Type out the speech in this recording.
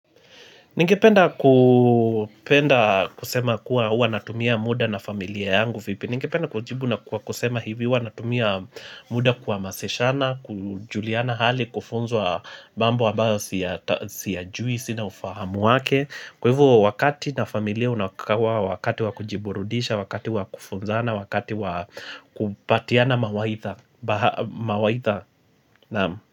Ningependa kupenda kusema kuwa hua natumia muda na familia yangu vipi. Ningependa kujibu na kuwa kusema hivi hua natumia muda kuwa maseshana, kujuliana hali, kufonzwa bambu wa bao siyajui, sina ufahamu wake. Kwa hivu wakati na familia unakakawa, wakati wakujiburudisha, wakati wakufunzana, wakati wakupatiana mawaitha.